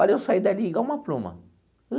Olha, eu saí dali igual uma pluma.